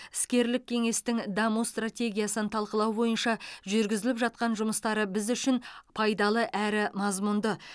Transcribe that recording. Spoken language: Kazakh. іскерлік кеңестің даму стратегиясын талқылау бойынша жүргізіліп жатқан жұмыстары біз үшін пайдалы әрі мазмұнды